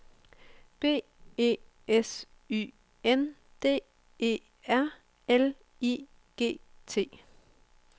B E S Y N D E R L I G T